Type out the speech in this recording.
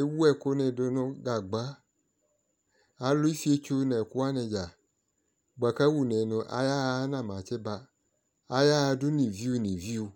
Ewu ɛkʋ ni du nʋ gagba Alʋ efietso nʋ ɛkʋwani dza boa kʋ awʋne nʋ ayaɣa anama tsiba Ayaɣa dʋ ni viu ni viu